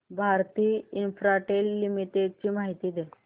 Bharti Infratel limited ची माहिती दे